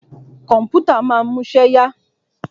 Kọ̀mpútà ma ń múṣẹ́ yá.